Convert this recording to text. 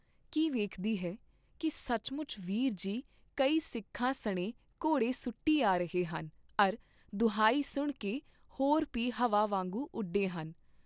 ਕੀ ਵੇਖਦੀ ਹੈ ਕੀ ਸੱਚਮੁੱਚ ਵੀਰ ਜੀ ਕਈ ਸਿੱਖਾਂ ਸਣੇ ਘੋੜੇ ਸੁਟੀ ਆ ਰਹੇ ਹਨ ਅਰ ਦੁਹਾਈ ਸੁਣ ਕੇ ਹੋਰ ਭੀ ਹਵਾ ਵਾਂਗੂੰ ਉਡੇ ਹਨ।